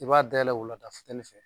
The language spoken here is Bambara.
I b'a dayɛlɛ o la ta futɛni fɛ